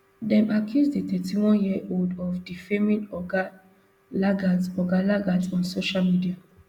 dem accuse di thirty-oneyearold of defaming oga lagat oga lagat on social media